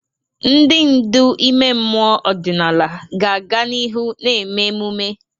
Ndị ndu ime mmụọ ọdịnala ga-aga n'ihu na-eme emume.